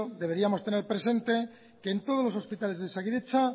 deberíamos tener presente que en todos los hospitales de osakidetza